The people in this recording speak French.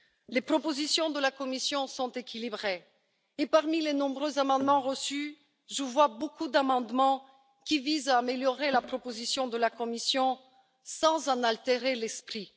Les propositions de la Commission sont équilibrées, et parmi les nombreux amendements reçus, je vois beaucoup d'amendements qui visent à améliorer la proposition de la Commission sans en altérer l'esprit.